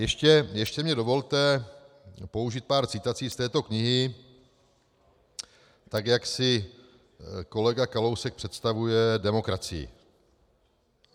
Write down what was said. Ještě mi dovolte použít pár citací z této knihy, tak jak si kolega Kalousek představuje demokracii.